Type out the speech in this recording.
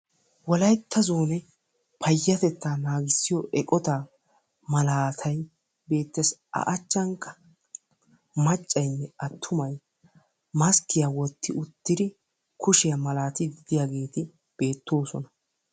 Wolaytta zoonee payatettaa naagissiyoo eqotaa malaatay beettees. a achchankka maccayinne attumay maskkiyaa wotti uttidi kushshiyaa malatiidi de'iyaageti beettoosona.